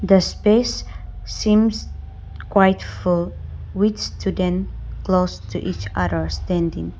the space seems quite full with student close to each other standing.